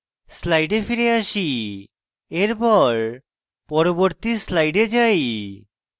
slides ফিরে আসি এরপর পরবর্তী slides যাই